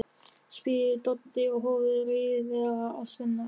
spyr Doddi og horfir reiðilega á Svenna.